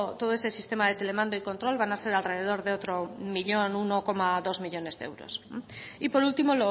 todo ese sistema de telemando y control van a ser alrededor de otro millón uno coma dos millónes de euros y por último